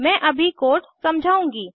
मैं अभी कोड समझाउंगी